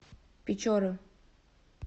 печоры